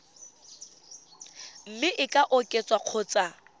mme e ka oketswa kgotsa